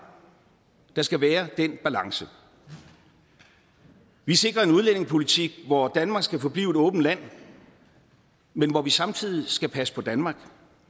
der skal være den balance vi sikrer en udlændingepolitik hvor danmark skal forblive et åbent land men hvor vi samtidig skal passe på danmark